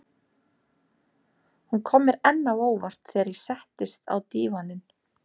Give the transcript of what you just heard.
Hún kom mér enn á óvart þegar ég settist á dívaninn.